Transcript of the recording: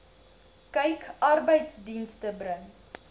kyk arbeidsdienste bring